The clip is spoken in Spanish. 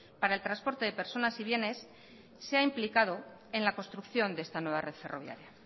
para el transporte de personas y bienes se ha implicado en la construcción de esta nueva red ferroviaria